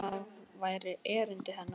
Það væri erindi hennar.